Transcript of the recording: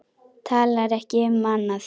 Talar ekki um annað.